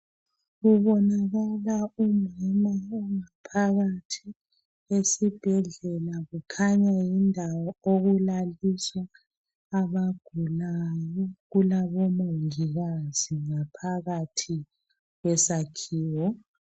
Kubonakala umama ongaphakathi kwesibhedlela kukhanya yindawo okulaliswa abagulayo kulabo mongikazi ngaphakathi kwesakhiwo.